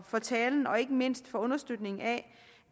for talen og ikke mindst for understøtningen af